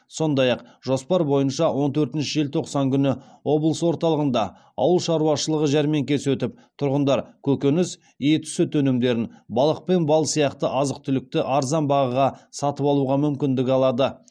сондай ақ жоспар бойынша он төртінші желтоқсан күні облыс орталығында ауыл шаруашылығы жәрмеңкесі өтіп тұрғындар көкөніс ет сүт өнімдерін балық пен бал сияқты азық түлікті арзан бағаға сатып алуға мүмкіндік алады